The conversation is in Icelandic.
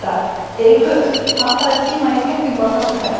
Ylfur, pantaðu tíma í klippingu á föstudaginn.